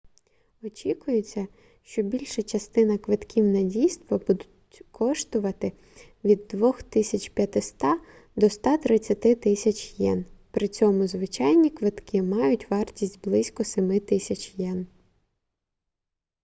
очікується що більша частина квитків на дійства будуть коштувати від 2500 до 130000 йен при цьому звичайні квитки мають вартість близько 7000 йен